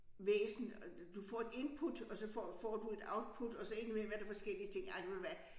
Væsen og du får et input og så får får du et output og så ind imellem er der forskellige ting ej ved du hvad